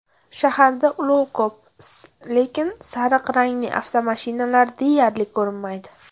Shaharda ulov ko‘p, lekin sariq rangli avtomashinalar deyarli ko‘rinmaydi.